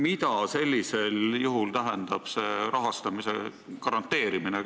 Mida üldse tähendab see rahastamise garanteerimine?